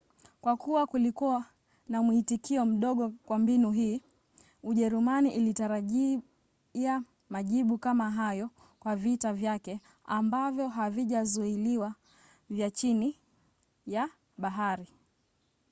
kwa kuwa kulikuwa na mwitikio mdogo kwa mbinu hii ujerumani ilitarajia majibu kama hayo kwa vita vyake ambavyo havijazuiliwa vya chini ya bahari